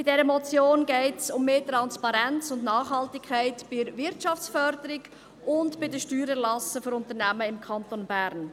Bei dieser Motion geht es um mehr Transparenz und Nachhaltigkeit bei der Wirtschaftsförderung und bei den Steuererlassen für Unternehmen im Kanton Bern.